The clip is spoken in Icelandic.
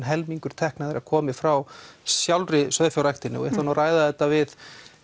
helmingur tekna komi frá sjálfri sauðfjárræktinni við ætlum að ræða þetta við